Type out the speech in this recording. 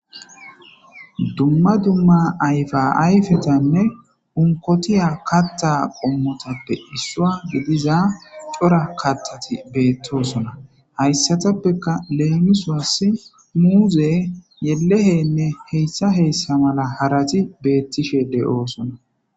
Dumma dumma ayfa ayfetanne unkotiya katta qommotappe issuwa gidiza cora kattati beettosona. Hayssatappeka leemisos muuze, yelehenne heyssa heyssa mala harati beettishe de'oosona.